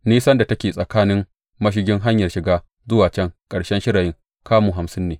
Nisan da take daga mashigin hanyar shiga zuwa can ƙarshen shirayin, kamu hamsin ne.